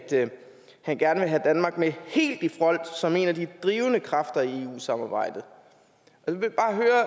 han gerne ville have danmark med helt i front som en af de drivende kræfter i eu samarbejdet